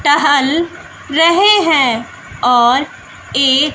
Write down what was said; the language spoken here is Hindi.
टहल रहे हैं और एक--